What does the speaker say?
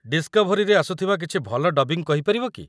Discovery ରେ ଆସୁଥିବା କିଛି ଭଲ ଡବିଂ କହିପାରିବ କି?